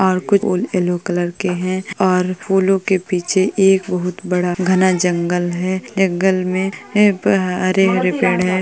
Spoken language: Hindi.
और कुछ फूल येलो कलर के है और फूलों के पीछे एक बहोत बड़ा घना जंगल है। एक घर मे हरे-हरे पेड़ है।